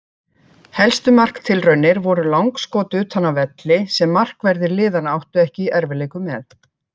Helstu marktilraunir voru langskot utan af velli sem markverðir liðanna áttu ekki í erfiðleikum með.